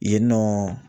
Yen nɔ